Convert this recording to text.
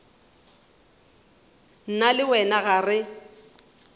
nna le wena ga re